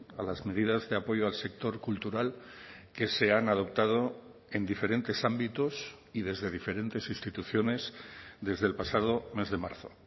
a las medidas de apoyo al sector cultural que se han adoptado en diferentes ámbitos y desde diferentes instituciones desde el pasado mes de marzo